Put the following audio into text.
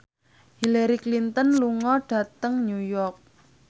Hillary Clinton lunga dhateng New York